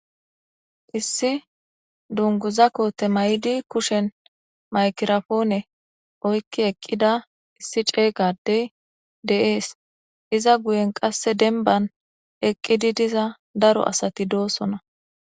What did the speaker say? issi dunguza koote may7di kushen maykirafoone oykki eqqida issi ceeygadey de7ees iza guyen qasse denban eqqidi diza daro asati doosona